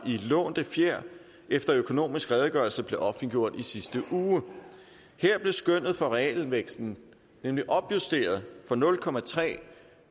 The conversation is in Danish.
lånte fjer efter at økonomisk redegørelse blev offentliggjort i sidste uge her blev skønnet for realvæksten nemlig opjusteret fra nul